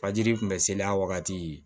Fajiri tun bɛ sele a wagati